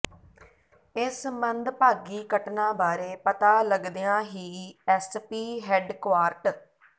ਇਸ ਮੰਦਭਾਗੀ ਘਟਨਾ ਬਾਰੇ ਪਤਾ ਲੱਗਦਿਆਂ ਹੀ ਐੱਸਪੀ ਹੈੱਡਕੁਆਰਟ